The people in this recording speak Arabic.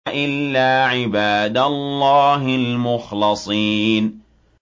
إِلَّا عِبَادَ اللَّهِ الْمُخْلَصِينَ